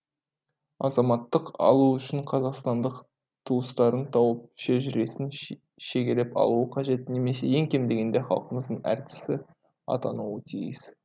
азаматтық алу үшін қазақстандық туыстарын тауып шежіресін шегелеп алуы қажет немесе ең кем дегенде халқымыздың әртісі атануы тиіс